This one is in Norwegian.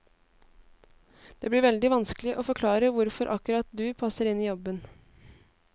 Det blir veldig vanskelig å forklare hvorfor akkurat du passer inn i jobben.